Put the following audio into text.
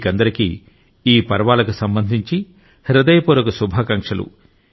మీకందరికీ ఈ పర్వాలకు సంబంధించి హృదయపూర్వక శుభాకాంక్షలు